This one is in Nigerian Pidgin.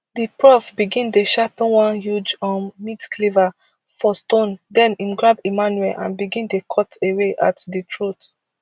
di prof begin dey sharpen one huge um meat cleaver for stone den im grab emmanuel and begin dey cut away at di throat